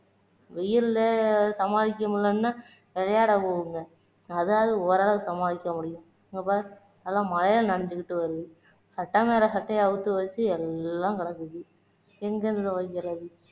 வெயில்ல சமாளிக்க முடியலைன்னா விளையாட போகுங்க அதாவது ஓரளவு சமாளிக்க முடியும், இங்க பாரு எல்லாம் மழையில நனைஞ்சுக்கிட்டு வருது சட்டை மேல சட்டை அவுத்து வச்சு எல்லாம் கிடக்குது எங்கருந்து துவைக்கிறது